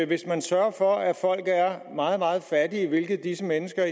hvis man sørger for at folk er meget meget fattige hvilket disse mennesker